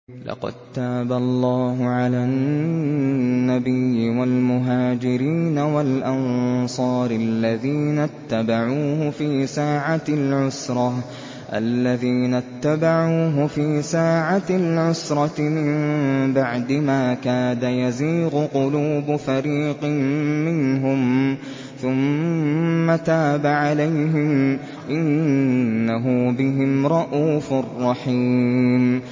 لَّقَد تَّابَ اللَّهُ عَلَى النَّبِيِّ وَالْمُهَاجِرِينَ وَالْأَنصَارِ الَّذِينَ اتَّبَعُوهُ فِي سَاعَةِ الْعُسْرَةِ مِن بَعْدِ مَا كَادَ يَزِيغُ قُلُوبُ فَرِيقٍ مِّنْهُمْ ثُمَّ تَابَ عَلَيْهِمْ ۚ إِنَّهُ بِهِمْ رَءُوفٌ رَّحِيمٌ